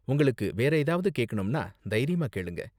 உங்களுக்கு வேற ஏதாவது கேக்கனும்னா தைரியமா கேளுங்க.